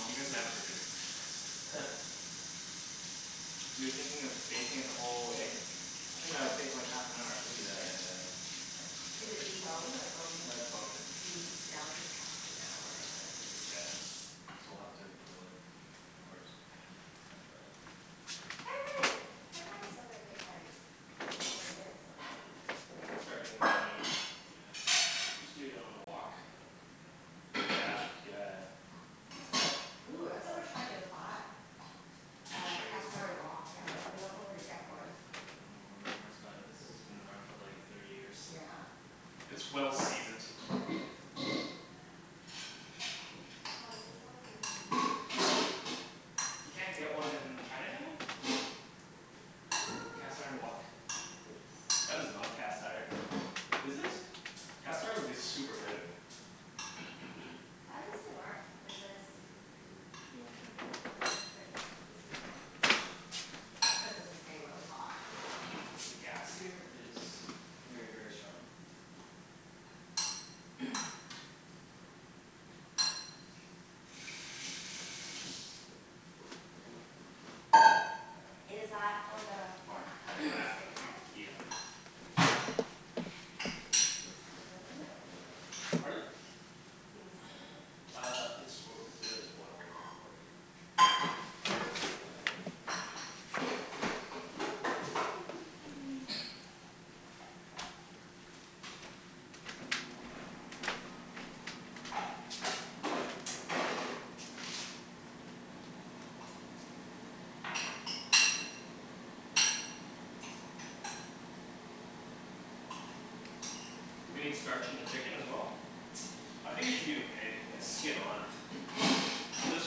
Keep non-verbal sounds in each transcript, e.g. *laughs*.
You guys can have it for dinner. *laughs* You're thinking of baking it the whole way? I think that would take like half an hour at Yeah, least, right? yeah, yeah. Is it deboned or bone-in? No, it's bone-in. Hm, yeah, it'll take half an hour, I think. Yeah. So we'll have to grill it first. Pan pan-fry it. pan-frying it, pan-frying it's still gonna take like twenty minutes, I dunno. I can start doing that right now. Yeah. Just do it on a wok. Yeah, yeah, yeah. Ooh, that's what we were trying to buy. Uh cast Chinese iron Oh wok? wok. We're not, we dunno where to really? get one. Well, I dunno where my parents got it. This has been around for like thirty years. Yeah. It's well-seasoned. Ah, this is so yummy. You can't get one in Chinatown? Uh. A cast iron wok? That is not cast iron. Is it? Cast iron would be super heavy. How's this thing work? Is this Do you wanna turn it down? How Yeah, do I turn there it down? you go. This is Yeah down? Oh okay. It's cuz this is getting really hot. Yeah. The gas here is very very strong. Is that for the pork, the non-stick pan? Yeah. Yep Do you need some oil in it or you already Pardon? Do you need some oil? Uh, it's oil, there is oil in it already. *noise* Do we need starch in the chicken as well? I think it should be okay, it's skin-on. Well, this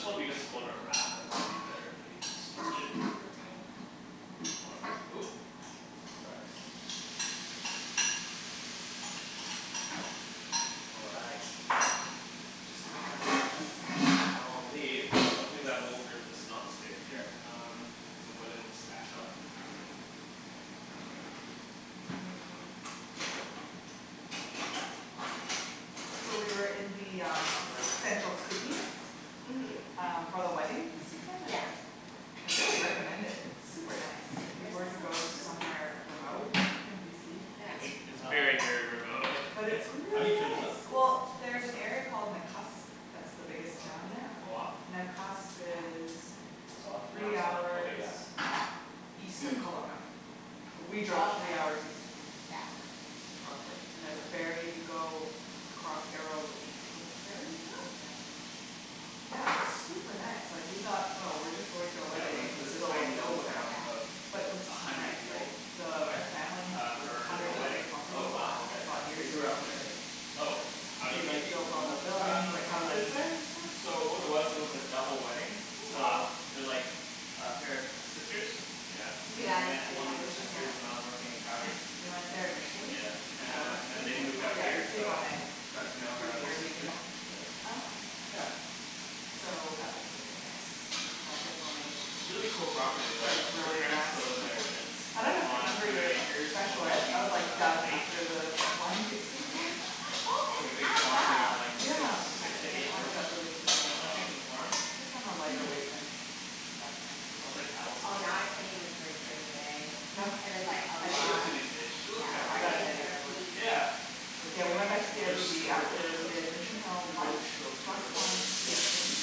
one because it's going in a wrap I thought it would be better if we starch it? Paper towel. All right, oop! All right, Just gonna dry the lettuce in. *inaudible* now I'll need Oops. something that won't hurt this non-stick. Here, um, it's a wooden spatula So we were in the um central Kootenays Mhm. Um for the wedding this weekend Yeah. and I really recommend it, it's super nice, if you Where's were to go that *inaudible* Kootenays? somewhere remote in BC. It's very, very remote. Hey, But Ken? it's How do really you turn this nice! up? Well, there's an area called Nakusp, that's the biggest Oh did town it there. go off? Nakusp is It's off, now three it's on. Ok hours yeah. east of Kelowna. We Oh drove three okay. hours east of Kel- Yeah. Kelowna Roughly. And there's a ferry you go across Arrow Lake with the ferry Oh! and then. Yeah, it's super nice. Like we thought oh we're just going to a Yeah, we went wedding to in the this middle of tiny little nowhere. town of But it Yeah. was a so hundred nice, like people. the Why? family has Uh, like a for hundred a wedding. acre Oh property wow, okay. They bought They years grew ago up there. and they, Oh, how do you they meet like these built all the people? buildings, Um, like houses on, there and stuff, so what it was, it really was a cool. double wedding, Cool. so Wow. They're like a pair of sisters Yeah. Did you And I guys met end one up of at the Mission sisters hill? when I was working in Yes, Calgary we went there initially, Yeah. Uh before and then staying they there moved out Yeah, we here stayed Yeah. one so night with, got to know her through other sister, Airbnb. Oh, okay. yeah. So that was really nice. And I definitely Really cool property though drank like her really parents fast. still live there, and it's *laughs* I dunno if you on a remember hundred your acres *inaudible* I overlooking was like a, a done lake. after the wine tasting tour. *laughs* Who It's is like a big farm, they got like six, Yeah, it six to eight added horses, up really *inaudible* quickly. I think, on the farm. Wow. I think i'm a lighter weight then. I was like. *inaudible* Oh, now I can't even drink Yeah. during the day. No? And it's like, I'll What's Headache? she up try. to these days, she looks. Yeah. Yeah I got a headache right away. *inaudible* *inaudible* Yeah, but Yeah we she- went back to the Well, they're airbnb super after religious. we did Mission Hill lunch *inaudible* plus the wine tasting,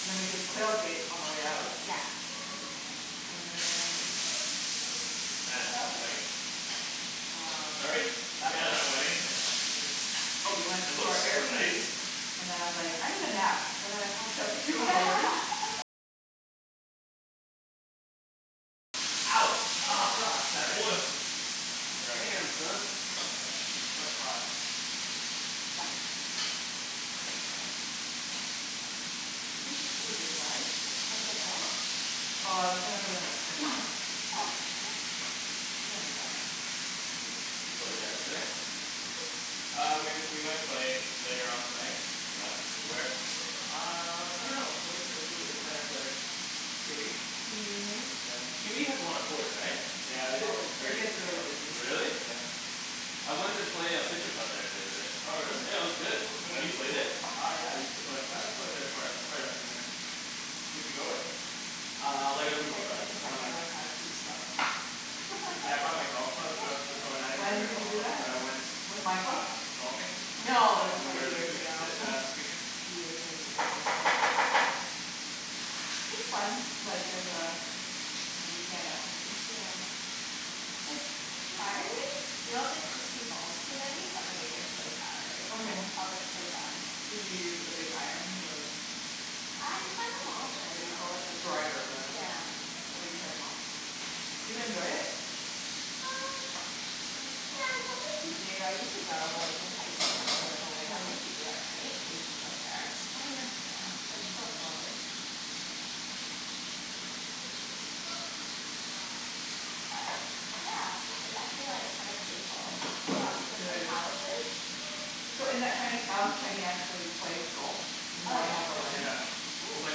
and then we did Quail Gate on our way out. Yeah. And then Man, that wedding. um, what Sorry? did Yeah, the wedding. we do. Oh we went It to looks our super nice. Airbnb, and then I was like I need a nap, and then I passed out for two hours Ouch! Oh Careful. god! That oil. *inaudible* Sorry. Damn, son. It's quite hot. You think this is a good size? *inaudible* Oh I was gonna put in the spring roll. Oh, okay. We don't need that much. Did you play tennis today? Uh we we might play later on tonight. Yeah? Where? Uh, I dunno. Where where should we play tennis later? QE? QE has a lot of courts, right? Yeah. It's always very busy though. Really? Yeah. I went and play uh *inaudible* there the other day. Oh really? Yeah, it was good. Have you played it? Uh yeah, I used to play, I played there quite a, quite a few times. Who'd you go with? Uh, like a I group of played like friends. *inaudible* Oh nice. once. I was too slow. Yeah, I brought *laughs* my golf clubs, I was, oh well I *laughs* didn't bring When my did you golf do clubs but that? I went With Michael? um, golfing No, this when was we were like in the years Kootenays ago. s- uh this weekend. Years and years ago. It's fun. Like there's a, a weekend activity. Yeah. Like surprisingly, you don't think sixty balls's too many but it like gets so tiring. Oh yeah? I was like, so done. Did you use the big iron the I tried them The all what pretty do much. you call it, the driver rather. Yeah. Oh you tried em all. Do you enjoy it? Uh, yeah, it's something to do. I used to go like in highschool, like when we had nothing to do at night, we'd just go there. Oh yeah. Yeah, but it's so close. But, yeah. It's actually like kinda painful. I got two of my calluses. So in that tiny town, Kenny actually plays golf In the Oh morning yeah? of the wedding. Yeah, It was Cool! like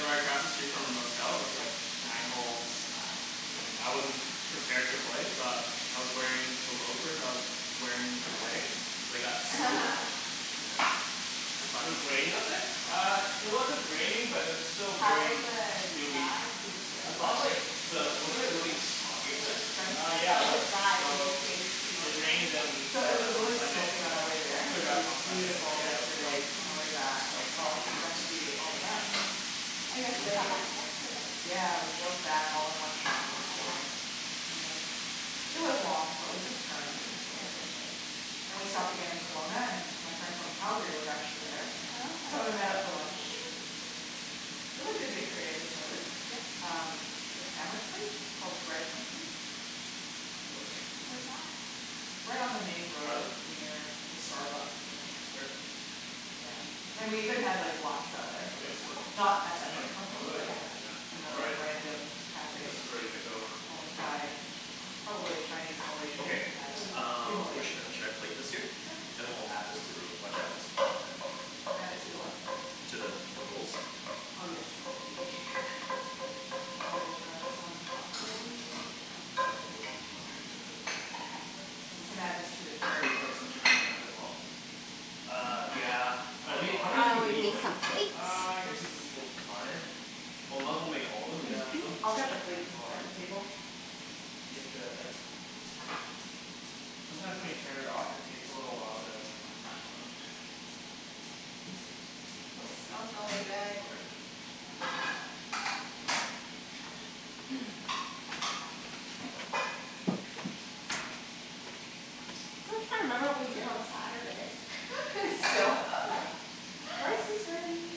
right across the street from our motel, with like nine holes, and I wasn't prepared to play so I, I was wearing the loafers that I was wearing to the wedding, and they got soaked, *laughs* yeah, it was It fun. was raining up there? Uh, it wasn't raining but it was still How was very the dewy drive? I and thought wet. of like, the, *inaudible* wasn't it really smoggy up there? Uh yeah it was. So it it rained on So it was uh on really Sunday smoky so, on our way it there cleared But up it was on Hmm. Sunday but beautiful yeah it was quite yesterday on our way back. quite Oh, foggy. we got to see all the mountains, Oh, you guys just got lakes. back yesterday. Yeah, we drove back all in one shot Oh wow. yesterday. Yeah, it was long but we took turns so Yeah. it was okay. And we stopped again in Kelowna and my friend from Calgary was actually there Oh okay. So we met up for lunch. Really good bakery I discovered. Yeah? Um, like a sandwich place, called Bread Company? Delicious. Where's that? Right on the main Try road them? near the Starbucks I think, Here. yeah. And we even had like, Laksa there. Cool! Not at that Mm. Bread That's Company really but good. Yeah, a, all another right. random This cafe is ready to go. owned by probably Chinese Malaysians, Okay, who had a few uh, where Malaysian should I, dishes. should I plate this here? Sure. Then we'll add this to the. *inaudible* Add it to the what? To the, the rolls? Oh yes. I will grab some cutlery, I can set the table as well. Oh we can add this to the Should carrot we put plate. some chicken in that as well? Uh, yeah. Well, we need, how many do we Uh, we need need like, some plates. one two three four five. Well, might as well make all of'em and then just Yeah, keep them, okay. yeah might as well, right? I'll grab the You have plates and to, yeah. set the table. Sometimes when you turn it off it takes a little while to come back on. It smells really good. Okay. I still can't remember what we did on Saturday. *laughs* Still? *laughs* Rice is ready!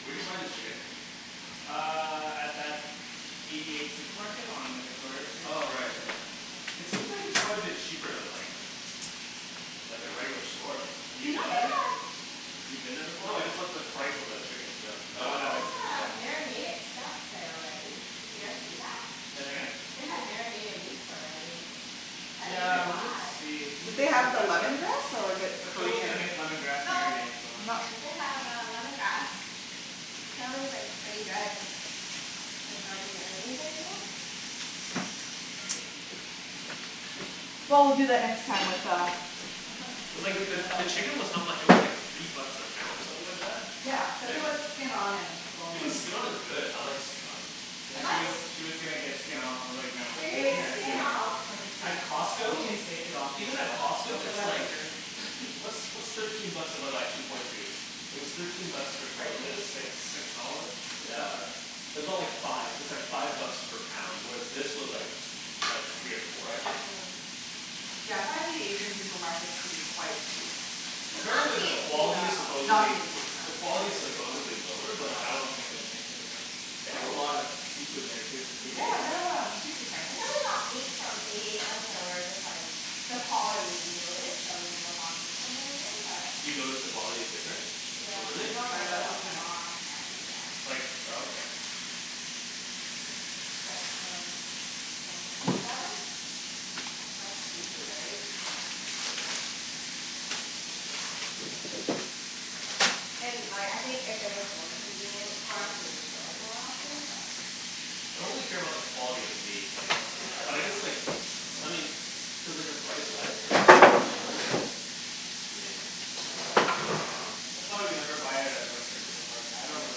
Where d'you buy the chicken? Uh, at that Eighty eight supermarket on Victoria street. Oh right yeah. It seems like it's quite a bit cheaper than like, like a regular store. Have you You know been they have there? You've been there before? No, I just looked at the price on the chickens, yeah. They No, I haven't. have uh marinated stuff there already. Did you guys see that? Say that again? They have marinated meats already, that you Yeah, can we did buy. see, we Did did they see have the that lemongrass or but the But Phil's gonna Korean. make lemongrass No, marinade so. they have uh lemongrass. Apparently it's like pretty good. *inaudible* Well, we'll do that next time with uh. The, the chicken was how *inaudible* much, it was like three bucks a pound or something like that? Yeah, cuz it was skin-on and bone in. But skin-on is good, I like skin-on. You She guys was, she was gonna get skin off, I was like, "No.". You were gonna get skin off? *inaudible* At You Costco can take it off Even at yourself. Costco That's what it's I like, figured what's what's thirteen bucks divided by two point two? It was thirteen bucks per Per kilogram. It's like kg? six dollars? Six Yeah. something? It's aboutt like five, it was like five bucks per pound. With this was like, like three or four, I think? Mm Yeah I find the Asian supermarkets to be quite cheap. Not Apparently the, the T&T quality is though. supposedly, the quality is supposedly lower No, but I I don't don't think it'd make a difference. They have a lot of seafood there too. Eighty eight? Yeah, they have um, seafood tanks. I think we only got meat from Eighty eight once and we were just like, the quality we noticed, so we never bought meat from there again but. You noticed the quality is different? Yeah, Hm, we Really? I can don't try it remember out this what we time. bought, but yeah. Like, oh okay. But um, yeah. They have like, fresh seafood, right? It's pretty good. And like, I think if it was more convenient for us we would go more often but. I don't really care about the quality of the meat, like. You don't? But I guess like, I mean, cuz like the price-wise, if it's a lot cheaper then, I mean That's why we never buy it at a Yeah. butcher, cuz like I don't really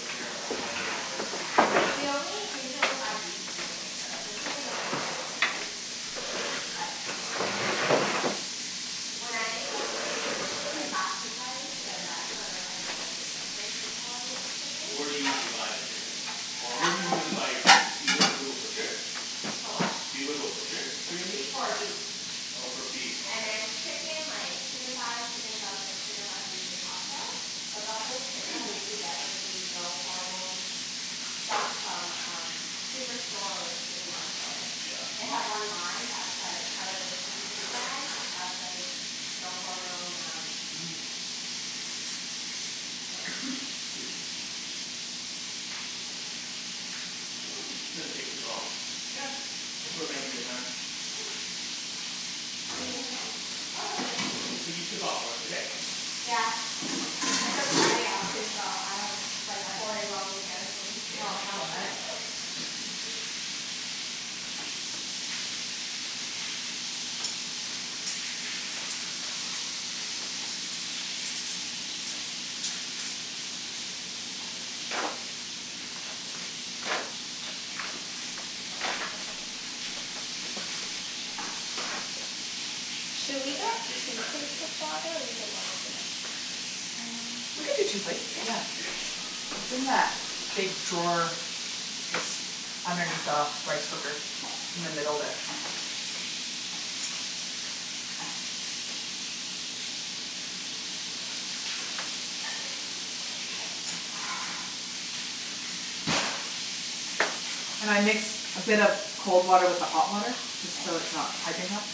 care about the quality either. We only, we usually only buy beef from the butcher, the chicken doesn't make a big difference, but when I make like *inaudible* then that's when like I notice the difference in quality of chickens. Where do you usually buy the chicken? Or where do you usually Um. buy your good meat, you go, go to a butcher? For what. Do you go to a butcher for your meat? For beef. Oh for beef, And okay. then chicken like, chicken thighs, chicken drumsticks, chicken breast usually Costco. But buffalo chicken we usually get like the no hormone stuff from um Superstore or City Market. They Yeah. have one line that's like part of the PC brand that's like no hormone um, so. This doesn't, didn't take too long. Yeah, think we're making good time. Do you need a hand? Oh no I'm good. Okay. So you took off work today? Yeah, I took Friday off, too, so I don't have to bike Nice. four day long weekend for me. *laughs* Should we get Yeah, baste two that chicken. plates of water or do you think one is enough? Hm we could do two plates, You yeah. can baste It's in that *inaudible* big drawer, just underneath the rice cooker, in the middle there. And I mix a bit of cold water with the hot water? Just K. so it's not piping hot.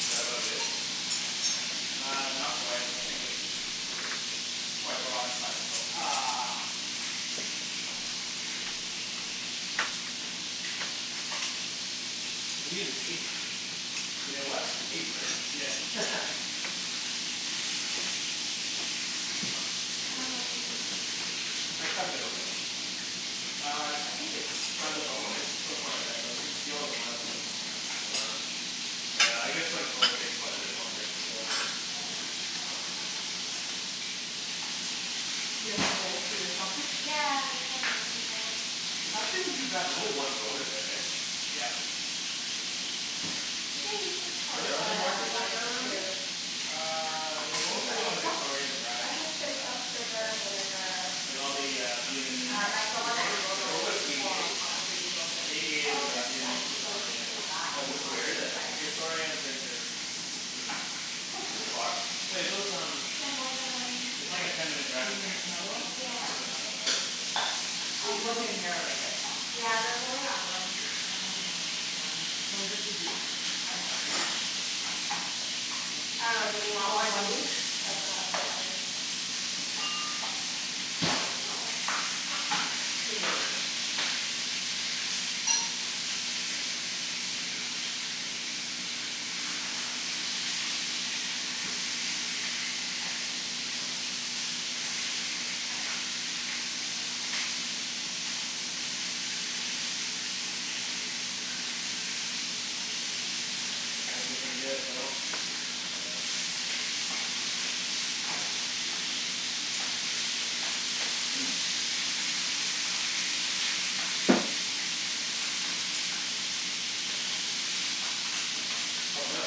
Is that about good? Uh, not quite. I think it's quite raw inside so Ugh. We need an apron. You need a what? Apron. Yeah. *laughs* *noise* Do I cut it open? Uh I, I think it's, by the bone it's still quite red, like you can see all the blood still coming out. Oh, oh yeah, I guess like bones take quite a bit longer. Yeah You have? Yeah, *inaudible* that's what this is It's for. actually not too bad, there's only one bone in there. heh? Yep. We can use this for Are there other the markets like rice that around here? too. Uh, they're What is mostly that, fish on sauce? Victoria Drive. I did fish Yeah. sauce, Yeah, sugar, vinegar. like all the uh Vietnamese Um like the one that you supermarkets are Wait, over normally there. what's Eighty pour eight? on top of the noodles or Eighty eight anything. is Oh a okay, Yeah, cool. Vietnamese so we supermarket, can serve yeah. that Yeah, if where you want, where is for it? the rice. Victoria and thirty third. Hm. That's like too far. Wait those um. Can I have more than one? It's like a ten minute Do drive you from need here. another one? Yeah, It's really not that far. there's um. You looked in here already right? Yeah there's only that one. Um, all right. Can we just use these? What? I dunno. Do we Do you want want one one each? each? That's what I was Um, yeah. wondering. We can go over there. Looking pretty good, Phil. Yeah. Oh no.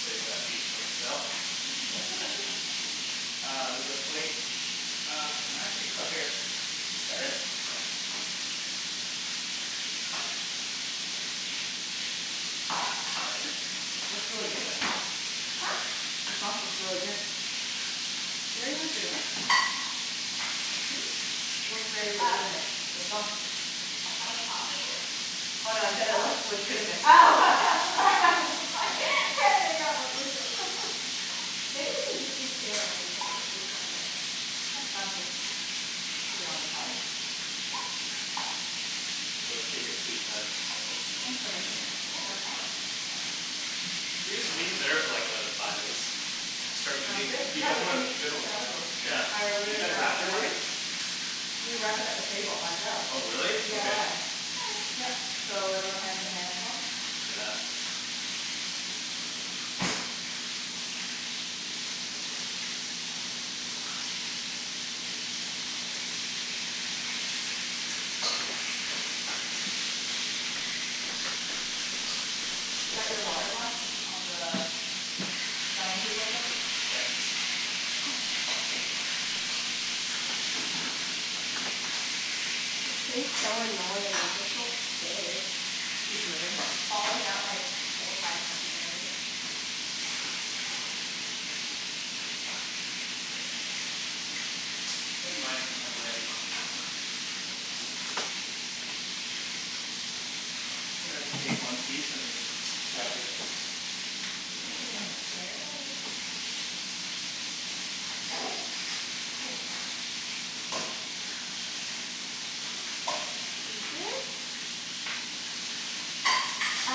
Save that feet for myself *laughs* Uh, there's a plate. Uh, actually just up here. Here? Yeah. Looks really good, the sauce. Huh? The sauce looks really good. They're legitimate. Hm? Looks very legitimate, the Oh. sauce. What sauce is Oh it? no I said it looks legitimate. Oh. *laughs* I'm *laughs* so sorry, can't make out what you're saying. Maybe you can just leave two and then we can scoop from it. Yeah, sounds good. Keep it on the side? Yep. *inaudible* take your sweet time. Thanks for making that. Yeah, no problem. Do we just leave it there for like another five minutes? Start Um eating? good, You yeah guys we wanna, can do make you guys the wanna salad rolls. Yeah. Oh, we Did you already guys have it wrap it set up. already? We wrapped it up, the table, ourselves. Oh really? Okay. DIY. Yup so, everyone has their hands washed? Yeah. Is that your water glass on the dining table still? Thanks. This thing's so annoying. It just won't stay. It's *inaudible* Falling out like four, five times already. I think mine might be ready. I think I'll take one piece and cut it through. Ooh, that looks good. Is it? Um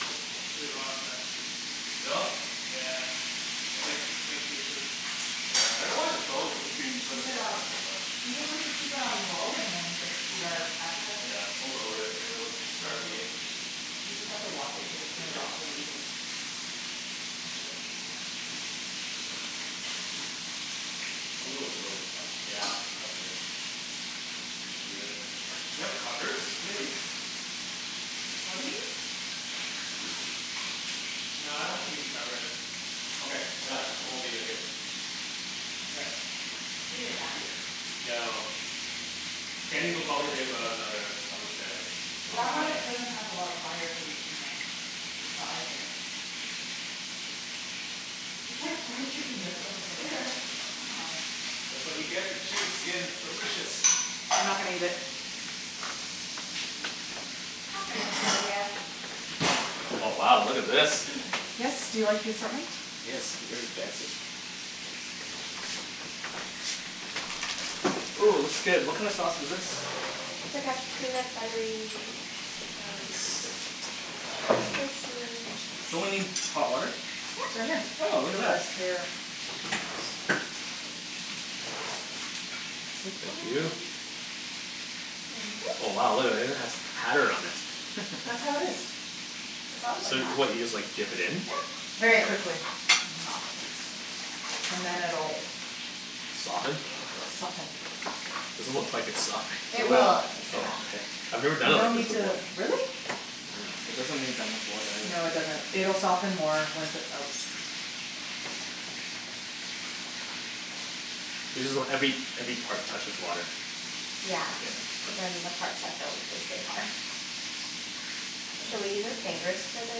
Nope, pretty raw inside. Still? Yeah Damn. *inaudible* Yeah, I dunno why the bone would You increase can the keep cooking it time on, by so much. do you think we should keep it on low and then just eat our appetizers? Yeah, we'll lower it and then we'll start eating You just have to watch it cuz it turns off really easily. I can do it. A little bit low is fine. Yeah, that's good. Just leave it. Do you have covers, maybe? What do you need? No, I don't think we need to cover it. Okay, yeah. I will leave it here. Okay. Is it done? No. Kenny's will probably take about another, I would say like Well, that one doesn't have a lot of fire cuz it's in the side there. It's like *inaudible* chicken there's so much oil. *laughs* That's what you get for chicken skin, it's delicious! I'm not gonna eat it. It's not gonna kill ya. Oh wow, look at this. Yes, do you like the assortment? Yes, very fancy. Ooh looks good, what kinda sauce is this? It's like a peanut buttery um Nice. Spicy fish Don't we need sauce. hot water? It's right Yep. here. Oh, look at that. Thank you. Thank you. Oh wow, look at that, it even has pattern on it. That's how it is. It's always like So, what, you just that. like dip it in? Yeah. And Very it quickly. softens. And then it'll Soften? Yep. Soften. Doesn't look like it's softened. It It It will. will, will. it takes Oh okay. time. I've never done You it don't like this need before. to, Yeah. really? It doesn't need that much water No, it either. doesn't. It'll soften more once it's out. You just want every, every part touches water. Yeah. Cuz then the parts that don't, they stay hard. Should we use our fingers for the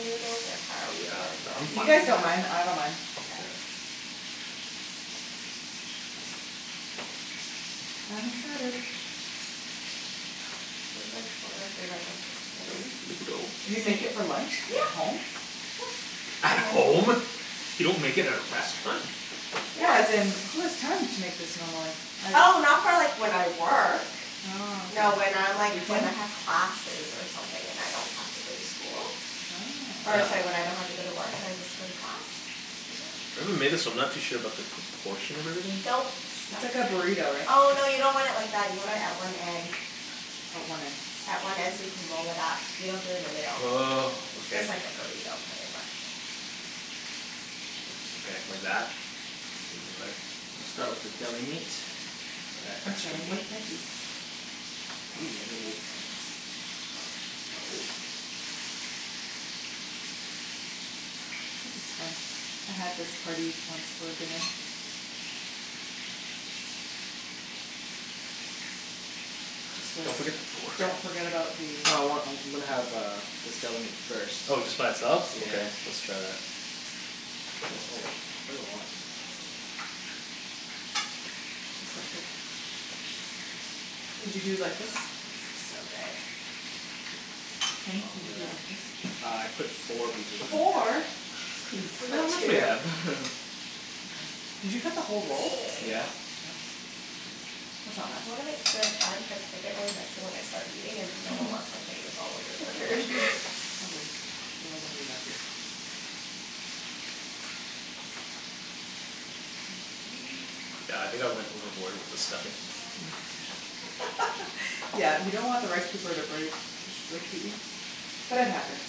noodles or how are we Yeah. I I'm If you fine gonna guys with either. don't mind, I don't Mkay. mind. I'm excited. This is like one of my favorite lunches to make. You make it for lunch? At Yep home? Yep. At home? You don't make it at a restaurant? No, as in, who has time to make this normally. Oh, not for like when I work. Oh No when okay. I'm like when I have classes or something, and I don't have to go to school. Or it's Oh. like when I don't have to go to work and I just go to class. Maybe we made this but I'm not too sure about the proportion of everything. Don't It's stuff like too a much. burrito right? Oh no, you Just- don't want it like that. You want it at one end. Oh, one end. At one end so you can roll it up. You don't do it in the middle. Oh, okay. Just like a burrito, pretty much. Okay, like that? I'll start with the deli meat. E- I'm extra starting meat. with veggies. I want this meat. This is fun. I had this party once for dinner. Just uh Don't forget the pork. Don't forget about the. I want, I'm I'm gonna have uh this deli meat first. Oh just by itself? Okay, let's Yeah. try that. Oh it's quite a lot. Did you do it like this? This looks so good. Kenny, did you do it like this? Uh I put four pieces in Four?! Geez. Just Look put how much we two. have. *laughs* Did you cut the whole roll? Yeah. Wow. That's not bad. You wanna make two at a time cuz I get really messy when I start eating and no one wants my fingers all over their *laughs* food. It's all good. *laughs* We're all gonna be messy. Yeah, I think I went overboard with the stuffing. *laughs* Yeah you don't want the rice paper to break, that's the key, but it happens.